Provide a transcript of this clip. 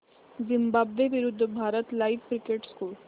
Zimbabwe विरूद्ध Bharat live cricket score